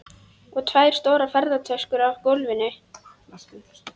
Og tvær stórar ferðatöskur á gólfinu.